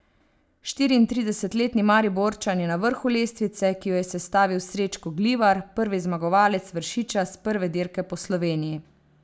Štiriintridesetletni Mariborčan je na vrhu lestvice, ki jo je sestavil Srečko Glivar, prvi zmagovalec Vršiča s prve dirke Po Sloveniji.